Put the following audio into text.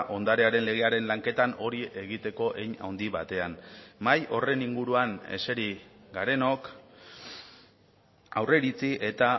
ondarearen legearen lanketan hori egiteko hein handi batean mahai horren inguruan eseri garenok aurreiritzi eta